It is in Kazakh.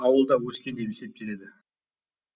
ауылда өскен деп есептеледі